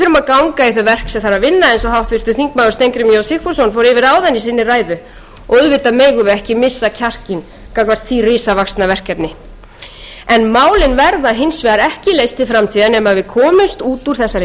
og háttvirtur þingmaður steingrímur j sigfússon fór yfir áðan í sinni ræðu og auðvitað megum við ekki missa kjarkinn gagnvart því risavaxna verkefni en málin verða hins vegar ekki leyst til framtíðar nema við komumst út úr þessari skammtímahugmyndafræði það er ekki